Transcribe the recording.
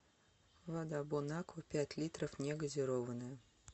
вода бонаква пять литров негазированная